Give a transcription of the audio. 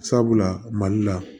Sabula mali la